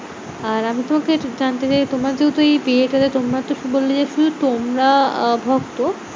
আর আমি তোমাকে একটু জানতে চাইবো, তোমার যেহেতু এই বিয়েটাতে তোমরা তুমি বললে যে, শুধু তোমরা আহ ভক্ত